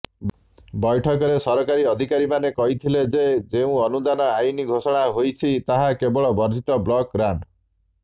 ବୈଠକରେ ସରକାରୀ ଅଧିକାରୀମାନେ କହିଥିଲେ ଯେ ଯେଉଁ ଅନୁଦାନ ଆଇନ ଘୋଷଣା ହୋଇଛି ତାହା କେବଳ ବର୍ଦ୍ଧିତ ବ୍ଲକଗ୍ରାଣ୍ଟ